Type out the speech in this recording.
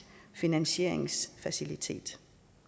finansieringsfacilitet